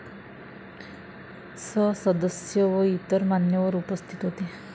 स. सदस्य व इतर मान्यवर उपस्थित होते.